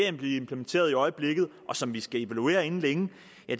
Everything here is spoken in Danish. at blive implementeret i øjeblikket og som vi skal evaluere inden længe